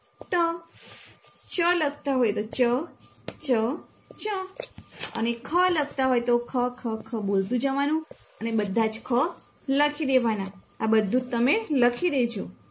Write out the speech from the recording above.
ટ ચ લખતા હોય તો ચ ચ ચ અને ખ લખતા હોય તો ખ ખ ખ બોલતું જવાનું અને બધાજ ખ લખીદેવાના આ બધુંજ તમે લખી દેજો